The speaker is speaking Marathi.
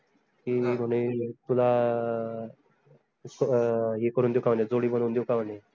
की, म्हने तुला अह हे करू देऊ का म्हने जोडी बनऊन देऊ का म्हने?